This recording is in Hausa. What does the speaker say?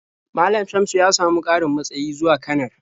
Malam Shamsu ya samu ƙarin matsayi zuwa kanar.